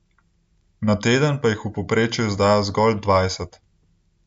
Na teden pa jih v povprečju izdajo zgolj dvajset.